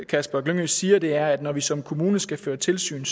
kasper glyngø siger er at når vi som kommune skal føre tilsyn